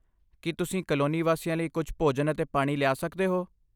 ਕੀ ਤੁਸੀਂ ਕਲੋਨੀ ਵਾਸੀਆਂ ਲਈ ਕੁਝ ਭੋਜਨ ਅਤੇ ਪਾਣੀ ਲਿਆ ਸਕਦੇ ਹੋ?